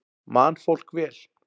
Man fólk vel?